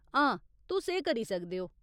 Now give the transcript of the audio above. हां, तुस एह् करी सकदे ओ।